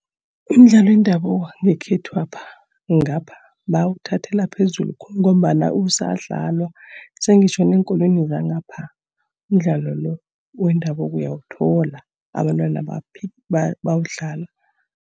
Umdlalo wendabuko ngekhethwapha, ngapha bawuthathela phezulu khulu ngombana usadlalwa. Sengitjho neenkolweni zangapha, umdlalo lo wendabuko uyawuthola, abantwana bawudlala.